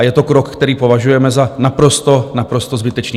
A je to krok, který považujeme za naprosto, naprosto zbytečný.